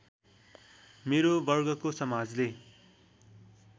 मेरो वर्गको समाजले